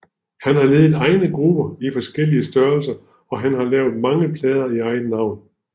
Han har ledet egne grupper i forskellige størrelser og har lavet mange plader i eget navn